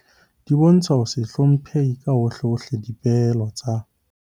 Di bontsha ho se hlomphe ka hohlehohle dipehelo tsa